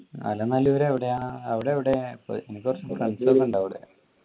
എലനല്ലൂര് എവിടെയാണ് അവിടെ എവിടെ പ്പോ എനക്ക് കുറച്ചു കളുണ്ട് അവിടെ